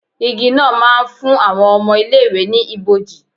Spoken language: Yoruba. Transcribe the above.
Igi náà ma ń fún àwọn ọmọ ilé ìwé ni ibòji.